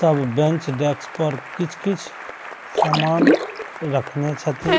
तब bench desk पर कीछ-कीछ समान रखने छथिन।